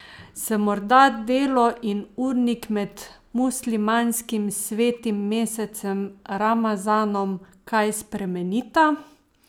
Se morda delo in urnik med muslimanskim svetim mesecem ramazanom kaj spremenita?